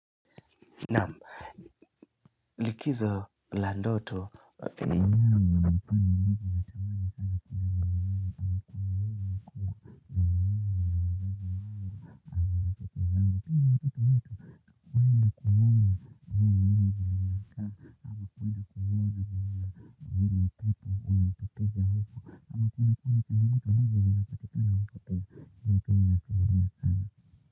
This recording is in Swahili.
Naam, likizo la ndoto.